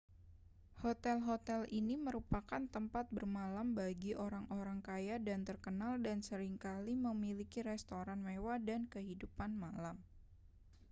hotel-hotel ini merupakan tempat bermalam bagi orang-orang kaya dan terkenal dan sering kali memiliki restoran mewah dan kehidupan malam